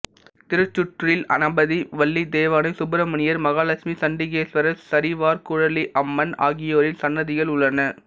திருச்சுற்றில் கணபதி வள்ளி தெய்வானை சுப்பிரமணியர் மகாலட்சுமிசண்டிகேஸ்வரர் சரிவார்குழலி அம்மன் ஆகியோரின் சன்னதிகள் உள்ளன